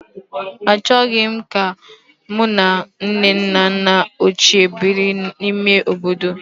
Achọghị m ka mụ na nne na nna ochie biri n'ime obodo